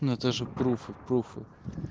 ну это же пруфы пруфы